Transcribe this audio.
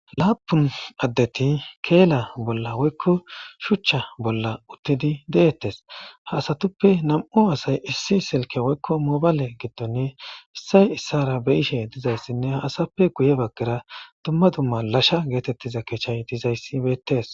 laapun addeti keela bolla woykko shuchcha bolla uttidi deettes haasatuppe nam7u asay issi silke woykko mobale gidtonne issay issara be ishe dizayssinne ha asappe guye baggera dumma dumma lasha geetettiza keechay dizayssi weettes